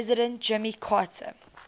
president jimmy carter